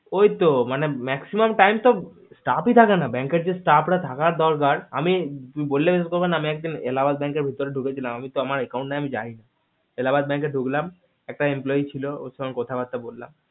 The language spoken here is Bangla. ওই তো maximum time তো staff ই থাকে না bank এ যে staff রা থাকার দরকান আমি তুমি বললে বিশ্বাস করবে না যে আমি একদিন এলাহাবাদ bank এর ভিতরে ঢুকেছিলাম তো account আমার নাই আমি যাই এলাহাবাদ bank ঢুকলাম একটা employee ছিল ওর সাথে কথা বার্তা বললাম